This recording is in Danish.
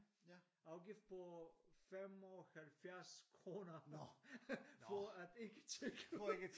Afgift på 75 kroner for at ikke tjekke ud